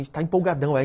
A gente está empolgadão.